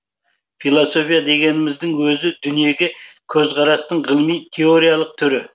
философия дегеніміздің өзі дүниеге көзқарастың ғылыми теориялық түрі